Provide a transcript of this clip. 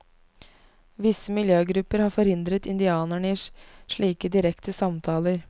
Visse miljøgrupper har forhindret indianerne i slike direkte samtaler.